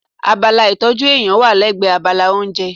Abala ìtọ́jú eyín wà lẹ́gbẹ̀ẹ́ abala oúnjẹ.